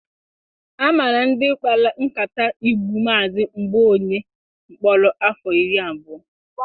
A mara ndị kpara nkata igbu Mazị Mgbaoye mkpọrọ afọ iri abụọ.